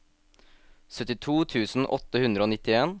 syttito tusen åtte hundre og nittien